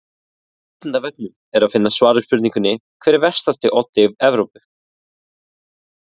Á Vísindavefnum er að finna svar við spurningunni Hver er vestasti oddi Evrópu?